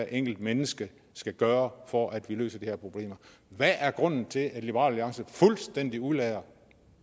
enkelte menneske skal gøre for at vi løser de her problemer hvad er grunden til at liberal alliance fuldstændig udelader